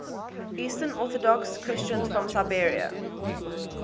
eastern orthodox christians from serbia